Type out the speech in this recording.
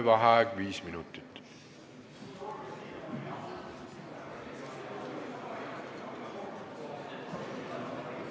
Vaheaeg viis minutit.